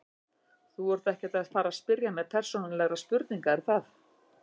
Þú ert ekkert að fara spyrja mig persónulegra spurninga er það?